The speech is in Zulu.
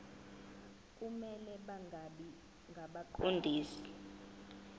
kumele bangabi ngabaqondisi